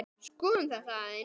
Skoðum þetta aðeins.